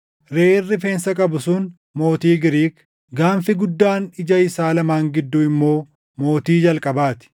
Reʼeen rifeensa qabu sun mootii Giriik; gaanfi guddaan ija isaa lamaan gidduu immoo mootii jalqabaa ti.